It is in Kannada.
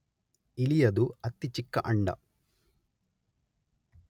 ಇಲಿಯದು ಅತಿ ಚಿಕ್ಕ ಅಂಡ.